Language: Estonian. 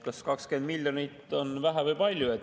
Kas 20 miljonit on vähe või palju?